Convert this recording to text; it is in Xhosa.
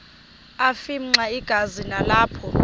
afimxa igazi nalapho